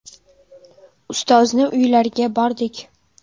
Ustozni uylariga bordik.